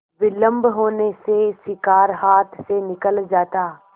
विलम्ब होने से शिकार हाथ से निकल जाता